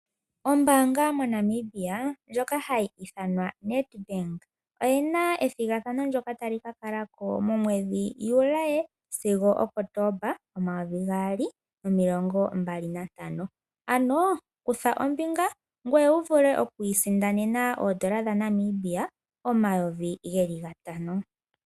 Ombanga yaNamibia hayi ithanwa Needbank oyi na ethogathano ndyoka tali ka kalako momwedhi Juli sigo Kotomba 2025, kutha ombinga opo wu vule oku sindana N$5000.